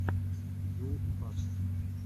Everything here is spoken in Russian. ю факт